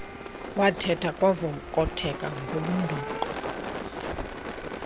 wathetha kwavokotheka ngobundoqo